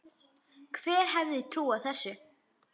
Hver hefði trúað þessu!